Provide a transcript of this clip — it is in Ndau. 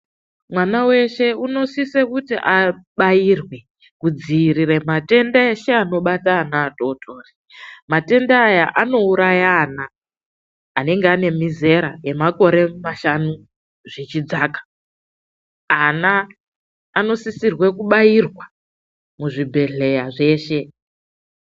Mwana weshe anosise kuti abairwe kudzivirira matenda ese anobata ana vadodori, Matenda aya anouraya ana anenge ane mizera yemakore mashanu zvichidzaka, ana anosisirwe kubairwa muzvibhedhleya zveshe.